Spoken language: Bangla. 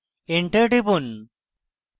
enter টিপুন